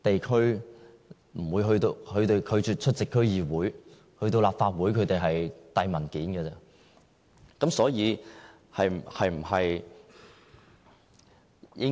他們拒絕出席區議會，前往立法會也只是遞交文件而已。